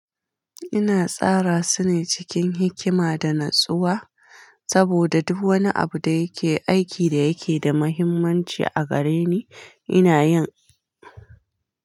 Ina tsara su ne cikin hikima da natsuwa saboda duk wani abu da yake aiki da yake da mahimmanci a gare ni ina yin.